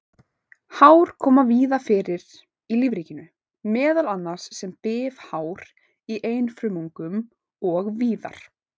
Hár koma fyrir víða í lífríkinu, meðal annars sem bifhár í einfrumungum og víðar.